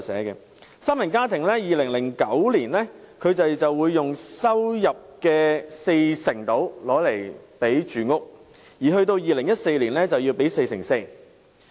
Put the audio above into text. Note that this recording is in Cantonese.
以三人家庭為例，在2009年，住屋開支佔其收入約四成，而及至2014年，則佔其收入的四成四。